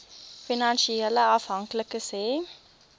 finansiële afhanklikes hê